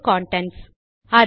file get contents